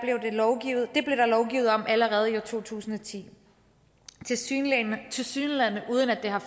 lovgivet om allerede i to tusind og ti tilsyneladende tilsyneladende uden at det har